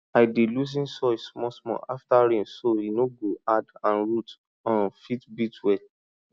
dem dey rotate dey rotate pepper bed with green vegetable to freshen soil and stop disease.